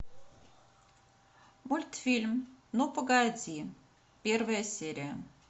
мультфильм ну погоди первая серия